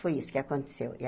Foi isso que aconteceu. E a